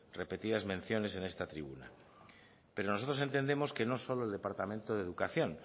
repetidas menciones en esta tribuna pero nosotros entendemos que no solo el departamento de educación